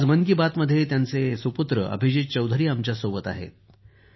आज मन की बात मध्ये त्यांचे पुत्र अभिजीत चौधरी आमच्याबरोबर आहेत